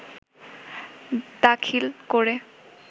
দাখিল করে